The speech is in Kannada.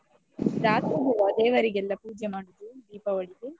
ರಾತ್ರಿಗೆವ ದೇವರಿಗೆಲ್ಲ ಪೂಜೆ ಮಾಡುದು ದೀಪಾವಳಿಗೆ?